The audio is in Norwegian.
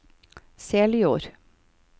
Seljord